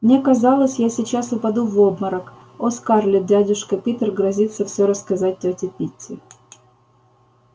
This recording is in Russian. мне казалось я сейчас упаду в обморок о скарлетт дядюшка питер грозится всё рассказать тёте питти